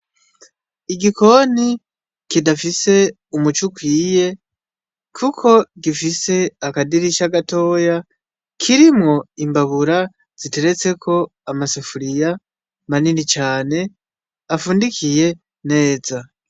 Igikoni kidafise umuco ukwiye kuko gifise akadirisha gatoya kirimwo imbabura ziteretseko amasafuriya manini cane afundikiye neza.